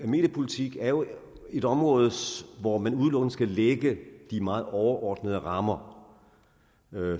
mediepolitik jo er et område hvor man udelukkende skal lægge de meget overordnede rammer